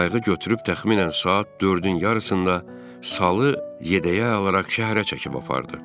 Qayğı götürüb təxminən saat dördün yarısında salı yədəyə alaraq şəhərə çəkib apardı.